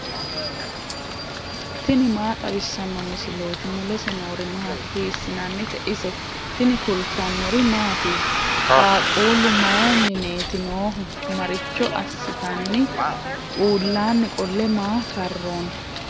tini maa xawissanno misileeti ? mulese noori maati ? hiissinannite ise ? tini kultannori mattiya? qaaqullu mayi mineetti noohu? maricho assitanni? uullanni qole maa karoonni?